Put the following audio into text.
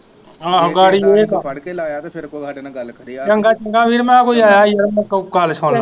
ਆਹੋ ਗਾੜੀ ਚੰਗਾ ਚੰਗਾ ਵੀਰ ਮੈਂ ਕਿਹਾ ਕੋਈ ਆਇਆ ਈ ਯਾਰ ਮੈਂ ਗੱਲ ਸੁਨਲਾ